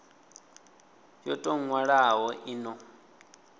yo tou nwalwaho i no